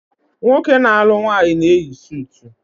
Nwoke na-alu nwaanyi na-eyi sutu